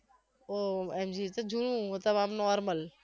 ઓહ જુનુ normal